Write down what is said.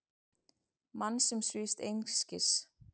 Mann sem svífst einskis.